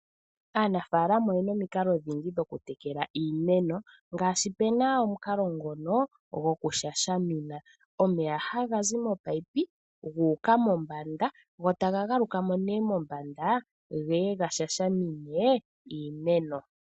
Aanafaalama oyena omikalo odhindji dho kutekela iimeno ngaashi puna omukalo ngoka gokushashamina. Omeya hagazi momunino guuka mombanda gotaga galuka mo ne mombanda geye gashashamine iimeno.